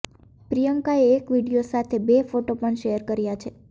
પ્રિયંકાએ એક વીડિયો સાથે બે ફોટો પણ શેર કર્યા છે